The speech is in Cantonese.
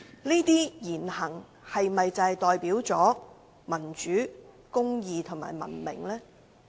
這些言行是否代表民主、公義和文明？